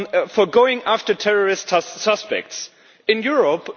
for going after terrorist suspects in Europe.